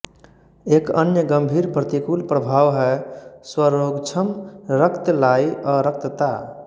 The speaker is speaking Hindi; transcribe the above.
एक अन्य गंभीर प्रतिकूल प्रभाव है स्वरोगक्षम रक्तलायी अरक्तता